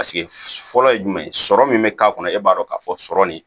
Paseke fɔlɔ ye jumɛn ye sɔrɔ min bɛ k'a kɔnɔ e b'a dɔn k'a fɔ sɔrɔ nin